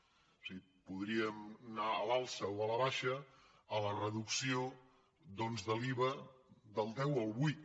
o sigui podríem anar a l’alça o a la baixa a la reducció doncs de l’iva del deu al vuit